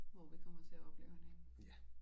Hvor vi kommer til at opleve hende henne